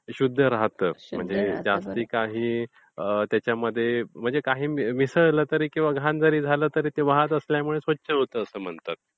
शुद्ध राहिलं. आता त्याच्यामध्ये काही मिसळल्यामुळे किंवा घाण जरी झालं तरी वाहतं असल्यामुळे ते स्वच्छ होत असते असे म्हणतात.